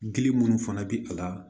Gili minnu fana bi a la